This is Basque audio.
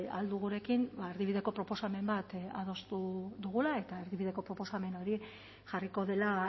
ahal dugurekin erdibideko proposamen bat adostu dugula eta erdibideko proposamen hori jarriko dela